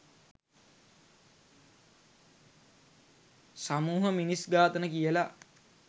සමුහ මිනිස් ඝාතන කියල.